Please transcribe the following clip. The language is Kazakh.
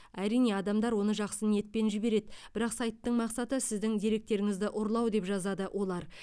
әрине адамдар оны жақсы ниетпен жібереді бірақ сайттың мақсаты сіздің деректеріңізді ұрлау деп жазады олар